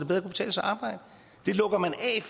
helt